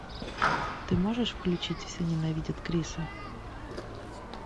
ты можешь включить все ненавидят криса